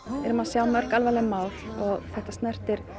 erum að sjá mörg alvarleg mál og þetta snertir